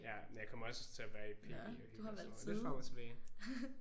Ja men jeg kommer også til at være i PB og hygge og sådan noget. Lidt frem og tilbage